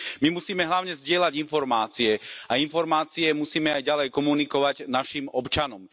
My musíme hlavne zdieľať informácie a informácie musíme aj ďalej komunikovať našim občanom.